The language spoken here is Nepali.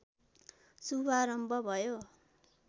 शुभारम्भ भयो